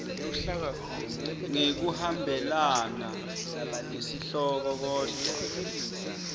ngekuhambelana nesihloko kodvwa